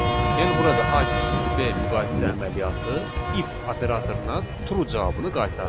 Yəni burada A kiçikdir B müqayisə əməliyyatı if operatoruna true cavabını qaytardı.